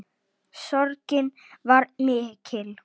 Sorgin var mikil.